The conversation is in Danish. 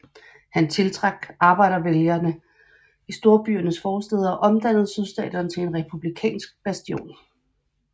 Han tiltrak arbejdervælgere i storbyernes forstæder og omdannede Sydstaterne til en republikanske bastion